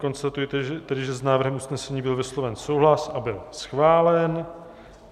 Konstatuji tedy, že s návrhem usnesení byl vysloven souhlas a byl schválen.